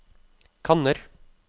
kanner